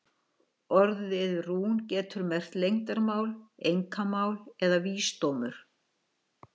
Orðið rún getur merkt leyndarmál, einkamál eða vísdómur.